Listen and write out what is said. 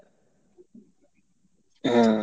হ্যাঁ।